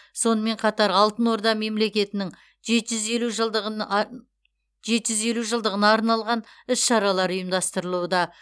сонымен қатар алтын орда мемлекетінің жеті жүз елу жылдығын ан жеті жүз елу жылдығына арналған іс шаралар ұйымдастырылуда